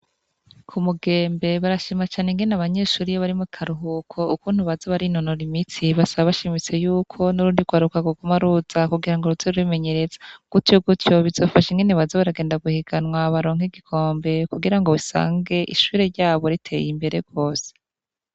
Ku mugembe barashima cane ingene abanyeshuri iyo bari mu karuhuko ukuntu bazo bari inonora imitsi basaba bashimitse yuko n'urundi kwaruka rwoguma ruza kugira ngo ruze rurimenyeretsa gutyo gutyo bizofashe ingene baza baragenda guhiganwa baronka igikombe kugira ngo bisange ishure ryabo riteye imbere gose.